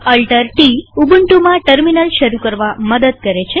CtrlAltt ઉબુન્ટુમાં terminal શરુ કરવા મદદ કરે છે